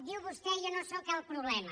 diu vostè jo no sóc el problema